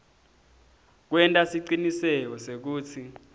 kwenta siciniseko sekutsi